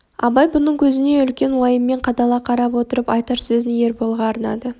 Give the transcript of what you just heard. абай бұның көзіне үлкен уайыммен қадала қарап отырып айтар сөзін ерболға арнады